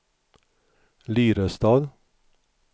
Lyrestad